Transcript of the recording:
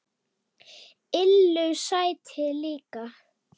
Lillu sæti líka.